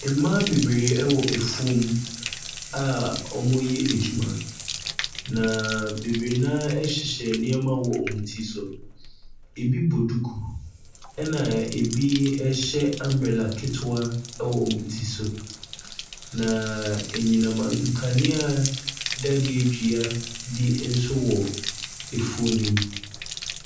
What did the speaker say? Mmaa bebree ɛwɔ afuom a wɔreyɛ adwuma, na bebree no ara ɛhyehyɛ nneɛma ɛwɔ wɔn ti so., ɛbi bɔ duku ɛna ɛbi ɛhyɛ umbrella ketewaɛwɔ wɔn ti so. Na enyinam nkanea dadeɛ dua bi nso wɔ efuo no mu.